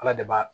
Ala de b'a